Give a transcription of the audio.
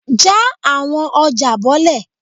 ja awọn ọja bolẹ!